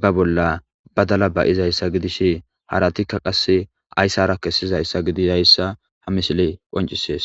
ba bolla badala ba'izasa gidishin haratika qasi garisara kesishe dizayisa ha misiley qonicises